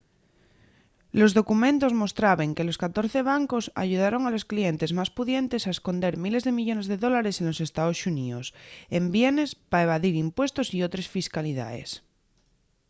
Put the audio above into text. los documentos mostraben que los catorce bancos ayudaron a los clientes más pudientes a esconder miles de millones de dólares de los estaos xuníos en bienes pa evadir impuestos y otres fiscalidaes